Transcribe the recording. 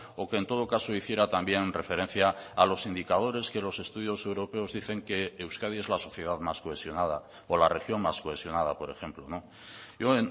o que en todo caso hiciera también referencia a los indicadores que los estudios europeos dicen que euskadi es la sociedad más cohesionada o la región más cohesionada por ejemplo no yo